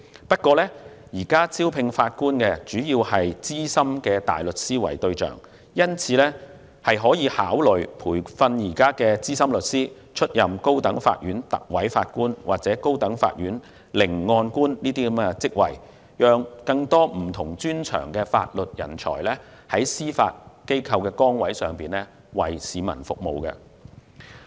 不過，現時招聘法官主要是以資深大律師為對象，因此，當局可考慮培訓現有資深律師，出任高等法院特委法官或高等法院聆案官等職位，讓更多具有不同專長的法律人才，在司法機構崗位上為市民服務。